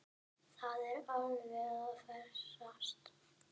Það er alveg að farast.